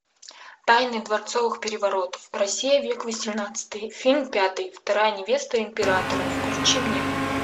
тайны дворцовых переворотов россия век восемнадцатый фильм пятый вторая невеста императора включи мне